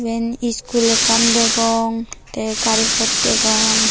eyen iskul ekkan degong te garipot ekkan degong.